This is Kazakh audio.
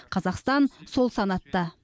қазақстан сол санатта